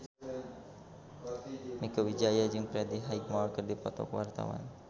Mieke Wijaya jeung Freddie Highmore keur dipoto ku wartawan